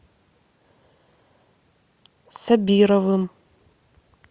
сабировым